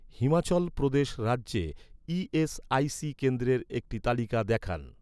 হিমাচল প্রদেশ রাজ্যে, ই.এস.আই.সি কেন্দ্রের একটি তালিকা দেখান